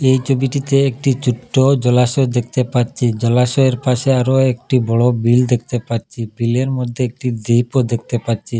এই ছবিটিতে একটি ছোট্ট জলাশয় দেখতে পাচ্ছি জলাশয়ের পাশে আরো একটি বড়ো বিল দেখতে পাচ্ছি বিলের মধ্যে একটি দ্বীপও দেখতে পাচ্ছি।